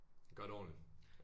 Gøre det ordentligt